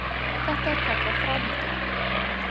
Þetta er kallað þráhyggja.